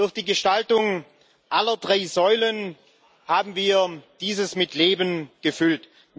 Durch die Gestaltung aller drei Säulen haben wir dieses mit Leben gefüllt.